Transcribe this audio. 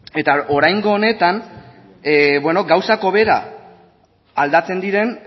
eta oraingo honetan gauzak hobera aldatzen diren